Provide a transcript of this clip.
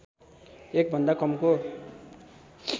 १ भन्दा कमको